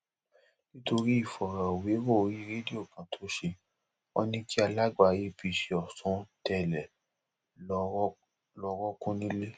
nítorí ìfọrọwérọ orí rédíò kan tó ṣe wọn ní kí alága apc ọsùn tẹlẹ lọọ rọọkùn nílẹ